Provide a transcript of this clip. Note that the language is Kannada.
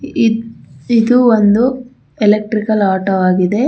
ಈ ಇದು ಒಂದು ಎಲೆಕ್ಟ್ರಿಕಲ್ ಆಟೋ ಆಗಿದೆ.